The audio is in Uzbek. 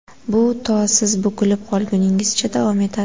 Bu to siz bukilib qolguningizcha davom etadi.